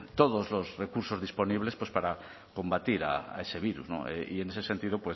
todos los cursos disponible para combatir a ese virus y en ese sentido